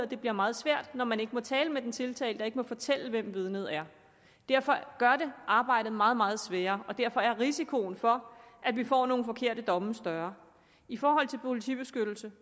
det bliver meget svært når man ikke må tale med den tiltalte og ikke må fortælle hvem vidnet er derfor gør det arbejdet meget meget sværere og derfor er risikoen for at vi får nogle forkerte domme større i forhold til politibeskyttelse